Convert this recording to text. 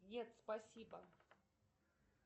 нет спасибо